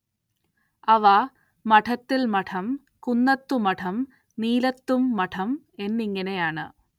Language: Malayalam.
അവ മഠത്തിൽ മഠം, കുന്നത്തു മഠം, നീലത്തും മഠം എന്നിങ്ങനെയാണ്.